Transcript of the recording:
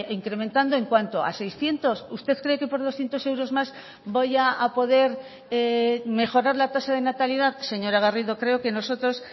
incrementando en cuánto a seiscientos usted cree que por doscientos euros más voy a poder mejorar la tasa de natalidad señora garrido creo que nosotros